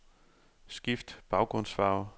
Skift baggrundsfarve.